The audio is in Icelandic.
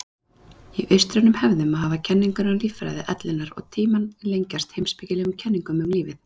Í austrænum hefðum hafa kenningar um líffræði ellinnar og tímann tengst heimspekilegum kenningum um lífið.